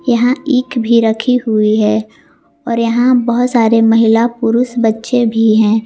यहां ईक भी रखी हुई है और यहां बहोत सारे महिला पुरुष बच्चे भी हैं।